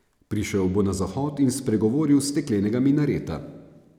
Prišel bo na Zahod in spregovoril s steklenega minareta.